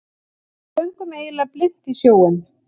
Við göngum eiginlega blint í sjóinn